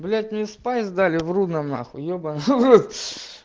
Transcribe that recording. блять мне спайс дали в рудном нахуй ебаный в рот